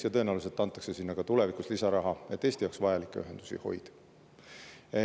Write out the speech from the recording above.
Ja tõenäoliselt antakse sinna ka tulevikus lisaraha, et Eesti jaoks vajalikke ühendusi hoida.